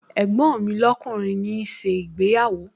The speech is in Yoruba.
Ẹ̀gbọ́n mi lọ́kùnrin ń ṣe ìgbéyàwó